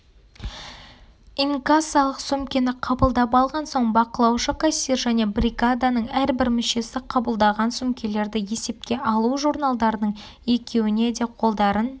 инкассалық сөмкені қабылдап алған соң бақылаушы-кассир және бригаданың әрбір мүшесі қабылдаған сөмкелерді есепке алу журналдарының екеуіне де қолдарын